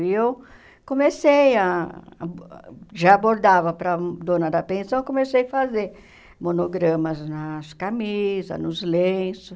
E eu comecei a... Já bordava para dona da pensão, comecei a fazer monogramas nas camisas, nos lenços.